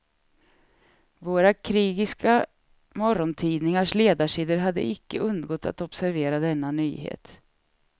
Våra krigiska morgontidningars ledarsidor hade icke undgått att observera denna nyhet.